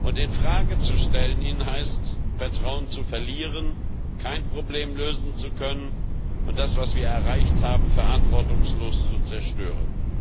Ihn in Frage zu stellen, heißt Vertrauen zu verlieren, kein Problem lösen zu können und das, was wir erreicht haben, verantwortungslos zu zerstören.